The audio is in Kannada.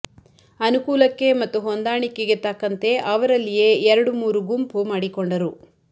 ಅನುಕೂಲಕ್ಕೆ ಮತ್ತು ಹೊಂದಾಣಿಕೆಗೆ ತಕ್ಕಂತೆ ಅವರಲ್ಲಿಯೇ ಎರಡು ಮೂರು ಗುಂಪು ಮಾಡಿಕೊಂಡರು